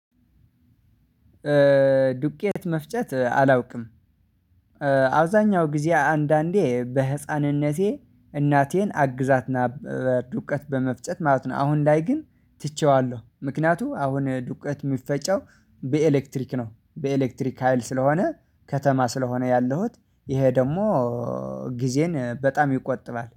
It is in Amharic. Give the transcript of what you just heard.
ዱቄት መፍጨት አላውቅም። አብዛኛው ጊዜ አንዳንዴ በህፃንነቴ እናቴን አግዛትና በ ዱቀት በመፍጨት ማለት ነው። አሁን ላይ ግን ትቼዋለሁ ምክንያቱ አሁን ዱቀት ሚፈጨው በኤሌክትሪክ ነው። በኤሌክትሪክ ሀይል ስለሆነ ከተማ ስለሆነ ያለሁት ይሄ ደሞ ጊዜን በጣም ይቆጥባል